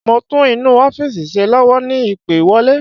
Mo ń tún inú ọ́fìsì ṣe lọ́wọ́ ni ìpè wọlé